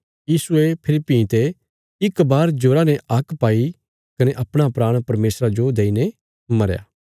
यीशुये फेरी भीं ते इक बार जोरा ने हाक पाई कने अपणा प्राण परमेशरा जो देईने मरया